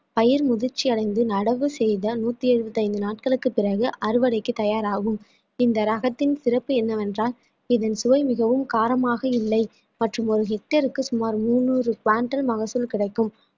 பயிர் முதிர்ச்சி அடைந்து நடவு செய்த நூற்றி எழுபத்தி ஐந்து நாட்களுக்கு பிறகு அறுவடைக்கு தயாராகும் இந்த ரகத்தின் சிறப்பு என்னவென்றால் இதன் சுவை மிகவும் காரமாக இல்லை மற்றும் ஒரு hectare க்கு சுமார் முந்நூறு மகசூல் கிடைக்கும்